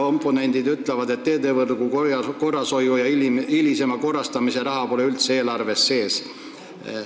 Oponendid ütlevad, et teedevõrgu korrashoiu ja hilisema korrastamise raha pole üldse eelarves sees.